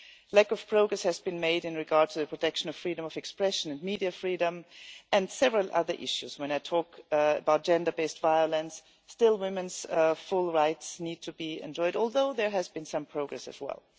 Lack of progress has been made in regard to the protection of freedom of expression and media freedom, and several other issues. When I talk about gender based violence, still women's full rights need to be enjoyed, although there has been some progress as well.